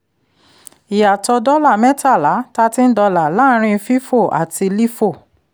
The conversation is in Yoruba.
ìyàtọ̀ dọ́là mẹ́tàlá thirteen dollar láàárín fifo àti lifo